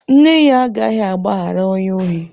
Nne ya agaghị agbaghara onye ohi.